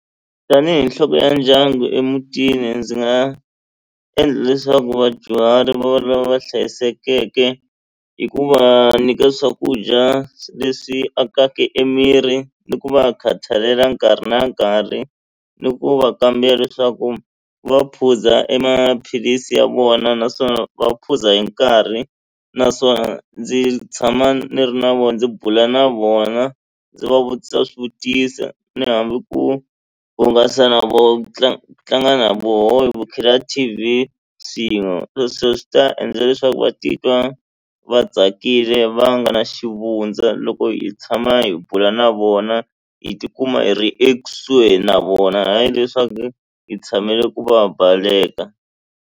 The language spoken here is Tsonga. Tanihi nhloko ya ndyangu emutini ndzi nga endla leswaku vadyuhari va va lava hlayisekeke hi ku va nyika swakudya leswi akaka emiri ku va khathalela nkarhi na nkarhi ni ku va kambela leswaku va phuza emaphilisi ya vona naswona va phuza hi nkarhi naswona ndzi tshama ni ri na vona ndzi bula na vona ndzi va vutisa swivutiso ni hambi ku hungasa na vo tlanga ku tlanga na vona hi bukhela T_V swin'we sweswo swi ta endla leswaku va titwa va tsakile va nga ri na xivundza loko hi tshama hi bula na vona hi tikuma hi ri ekusuhi na vona hayi leswaku hi tshamile ku va baleka.